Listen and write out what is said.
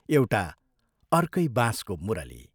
एउटा अर्कै बाँसको मुरली।